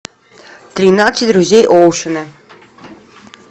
тринадцать друзей оушена